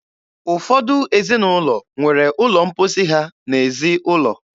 Ụfọdụ ezinụlọ nwere ụlọ mposi ha n'ezi ụlọ.